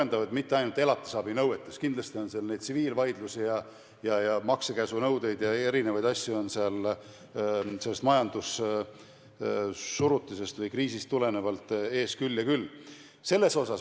Ja mitte ainult elatisabinõuetes, vaid kindlasti on seal tsiviilvaidlusi ja maksekäsunõudeid ja erinevaid asju sellest majandussurutisest või -kriisist tulenevalt ees küll ja küll.